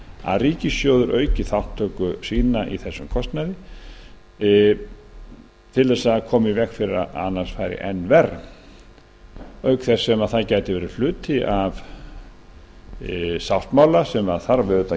að ríkissjóður auki þátttöku sína í þessum kostnaði til að koma í veg fyrir að enn verr fari það gæti auk þess verið hluti af sáttmála sem